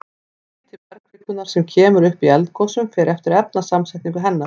Hiti bergkvikunnar sem kemur upp í eldgosum fer eftir efnasamsetningu hennar.